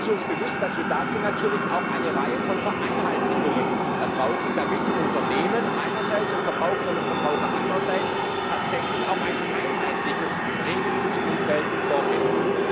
Es ist uns bewusst, dass wir dafür natürlich auch eine Reihe von Vereinheitlichungen brauchen, damit Unternehmen einerseits und Verbraucherinnen und Verbraucher andererseits tatsächlich auch ein einheitliches Regelungsumfeld vorfinden.